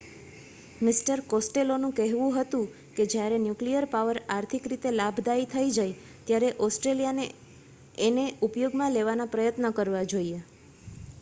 mister કોસ્ટેલોનુ કહેવુ હતુ કે જયારે ન્યુક્લીયર પાવર આર્થિક રીતે લાભદાયી થઇ જાય ત્યારે ઓસ્ટ્રેલિયાને એને ઉપયોગ માં લેવાના પ્રયત્ન કરવા જોઈએ